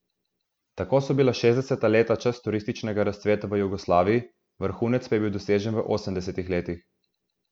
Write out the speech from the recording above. Tako so bila šestdeseta leta čas turističnega razcveta v Jugoslaviji, vrhunec pa je bil dosežen v osemdesetih letih.